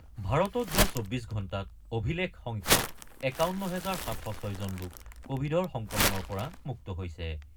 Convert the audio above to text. ভাৰতত যোৱা ২৪ ঘণ্টাত অভিলেখ সংখ্যক ৫১ হাজাৰ ৭০৬ জন লোক কোবিডৰ সংক্ৰমণৰ পৰা মুক্ত হৈছে।